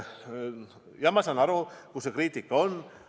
Jah, ma saan aru, kuhu see kriitika suunatud on.